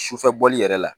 Sufɛ bɔli yɛrɛ la